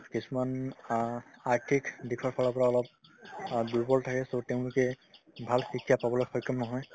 কিছুমান অ আৰ্থিক দিশৰ ফালৰ পৰা অলপ অ দুৰ্বল থাকে so তেওঁলোকে ভাল শিক্ষা পাবলৈ সক্ষম নহয়